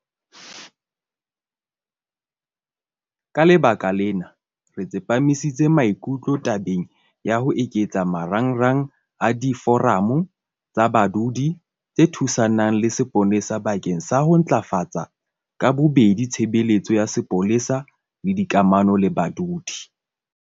Ka lebaka lena, re tsepamisitse maikutlo tabeng ya ho eketsa marangrang a Diforamo tsa Badudi tse Thusanang le Sepolesa bakeng sa ho ntlafatsa ka bobedi tshebeletso ya sepolesa le dikamano le badudi.